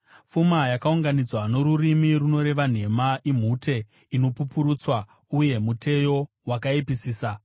Pfuma yakaunganidzwa norurimi runoreva nhema imhute inopupurutswa uye muteyo wakaipisisa.